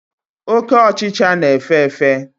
Oke ọchichara na-efe efe.